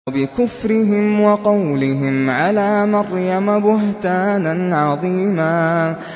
وَبِكُفْرِهِمْ وَقَوْلِهِمْ عَلَىٰ مَرْيَمَ بُهْتَانًا عَظِيمًا